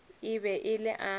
e be e le a